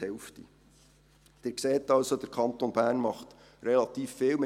Sie sehen, der Kanton Bern tut relativ viel.